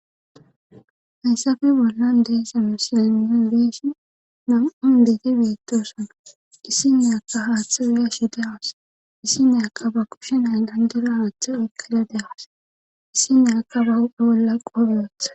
hayssafe bollan deesamo silanon beeshi nam7un begi beettosana issi neyakka haaththa uya shi da awus issi neyaka ba kushenay dandira haatha ekkada dehaas issi neaka bolla qobyotha